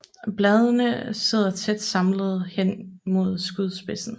Bladene sidder tæt samlet hen mod skudspidsen